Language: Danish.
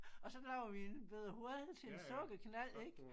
Og så laver vi en bette hul til en sukkerknald ik